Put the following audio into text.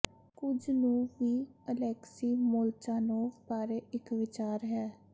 ਕੁਝ ਨੂੰ ਵੀ ਅਲੈਕਸੀ ਮੋਲਚਾਨੋਵ ਬਾਰੇ ਇੱਕ ਵਿਚਾਰ ਹੈ